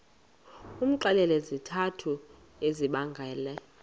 umxelele izizathu ezibangela